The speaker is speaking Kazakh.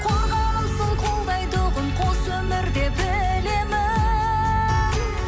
қорғанымсың қолдайтұғын қос өмірде білемін